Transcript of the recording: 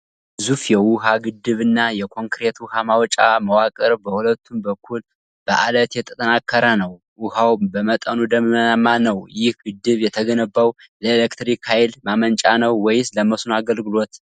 ግዙፍ የውሃ ግድብ እና የኮንክሪት ውሃ ማውጫ መዋቅር በሁለቱም በኩል በአለት የተጠናከረ ነው። ውሃው በመጠኑ ደመናማ ነው። ይህ ግድብ የተገነባው ለኤሌክትሪክ ኃይል ማመንጫ ነው ወይስ ለመስኖ አገልግሎት?